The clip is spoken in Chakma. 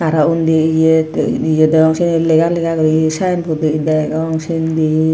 aro undi eya ye degong syeni lega lega gori synbord degong sindi.